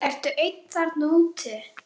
Ertu einn þarna úti?